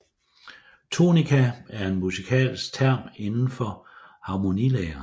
Tonika er en musikalsk term inden for harmonilære